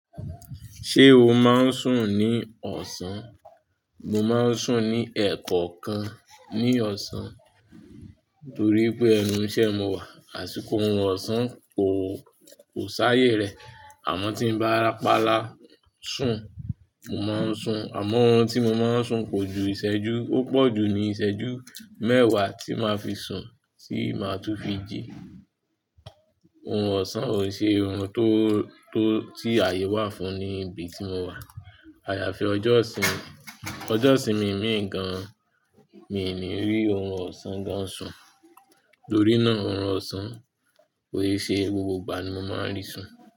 Ṣé o máa ń sùn ní ọ̀sán? Mo máa ń sùn ní ẹ̀kọ̀okan ní ọ̀sán torí pé ẹnu iṣẹ́ mo wà, àsìkò orun ọ̀sán kò, kò sáayè rẹ̀. Àmọ́ tí n bá rapala sùn, mo máa ń sùn. Àmọ́ orun tí mo máa ń sùn kò ju ìṣẹ́jú, ó pọ̀jù ní ìṣẹ́jú mẹ́wàá tí máa fi sùn tí màá tún fi jí. Orun ọ̀sán ò n ṣe orun tó, tó tí àyè wà fún ní ibi tí mo wà. Àyàfi ọjọ́ ìsinmi, ọjọ́ ìsinmi mìí mi ní rí orun ọ̀sán gan sùn. Torí náà orun ọ̀sán, kò i ṣe gbogbo ìgbà ni mo máa ń rí sùn.